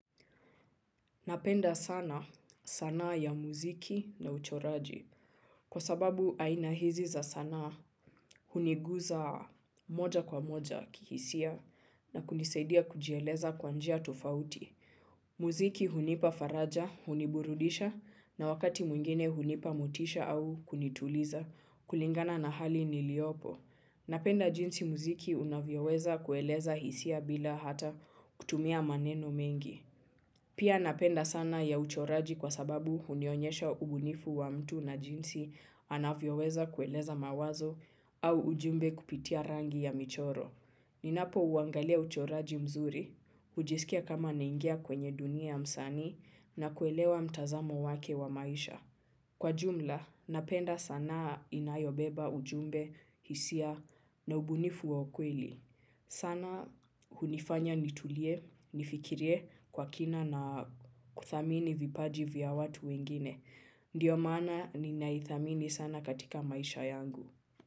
Napenda sana sanaa ya muziki na uchoraji. Kwa sababu aina hizi za sanaahuniguza moja kwa moja kihisia na kunisaidia kujieleza kwa njia tofauti. Muziki hunipa faraja, huniburudisha na wakati mwingine hunipa motisha au kunituliza kulingana na hali niliyopo. Napenda jinsi muziki unavyoweza kueleza hisia bila hata kutumia maneno mengi. Pia napenda sana ya uchoraji kwa sababu hunionyesha ubunifu wa mtu na jinsi anavyoweza kueleza mawazo au ujumbe kupitia rangi ya michoro. Ninapouangalia uchoraji mzuri, hujisikia kama naingia kwenye dunia ya msanii na kuelewa mtazamo wake wa maisha. Kwa jumla, napenda sanaa inayobeba ujumbe, hisia na ubunifu wa ukweli. Sanaa hunifanya nitulie, nifikirie kwa kina na kuthamini vipaji vya watu wengine. Ndiyo maana ninaithamini sana katika maisha yangu.